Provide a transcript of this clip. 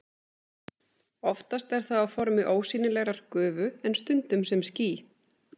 Oftast er það á formi ósýnilegrar gufu en stundum sem ský.